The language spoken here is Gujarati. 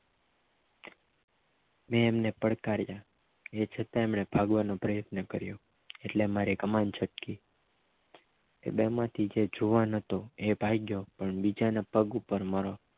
મેં એમને પકડ્ કરીયા એ છતાં એમને ભાગવાનો પ્રયત્ન કર્યો એટલે મારી કમાન છટકી એ બે માંથી જે જુવાન હતો એ ભાગ્ય પણ બીજા ના પગ પર મારો